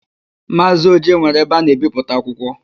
Maazị Oje nwere ebe a na-ebipụta akwụkwọ.